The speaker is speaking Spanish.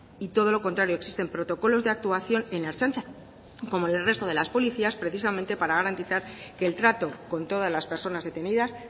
y todo lo contrario existen protocolos de actuación en la ertzaintza como en el resto de las policías precisamente para garantizar que el trato con todas las personas detenidas